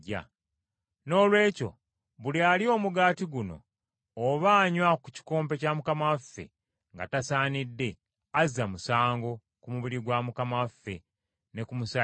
Noolwekyo buli alya omugaati guno oba anywa ku kikompe kya Mukama waffe nga tasaanidde, azza omusango ku mubiri gwa Mukama waffe, ne ku musaayi gwe.